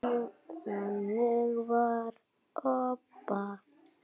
Þannig var Obba.